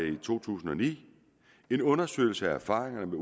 i to tusind og ni en undersøgelse af erfaringerne med